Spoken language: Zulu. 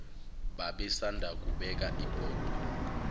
babesanda kubeka ibhodwe